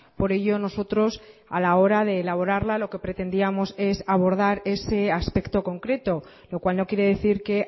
por ello nosotros a la hora de elaborarla lo que pretendíamos es abordar ese aspecto concreto lo cual no quiere decir que